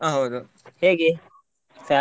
ಹೇಗೆ salary ?